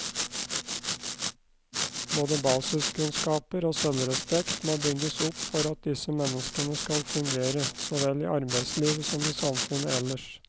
Både basiskunnskaper og selvrespekt må bygges opp for at disse menneskene skal fungere, så vel i arbeidslivet som i samfunnet ellers.